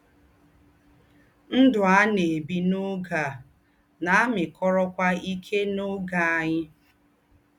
Ndụ́ à nà-ébí n’ọ́gé à nà-àmị́kọ́rọ́kwá íké nà ọ́gé ànyị́.